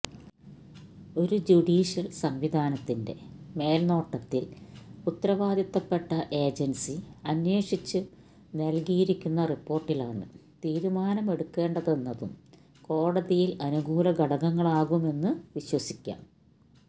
ഒരു ജുഡീഷ്യല് സംവിധാനത്തിന്റെ മേല്നോട്ടത്തില് ഉത്തരവാദിത്വപ്പെട്ട ഏജന്സി അന്വേഷിച്ചു നല്കിയിരിക്കുന്ന റിപ്പോര്ട്ടിലാണ് തീരുമാനമെടുക്കേണ്ടതെന്നതും കോടതിയില് അനുകൂല ഘടകങ്ങളാകുമെന്ന് വിശ്വസിക്കാം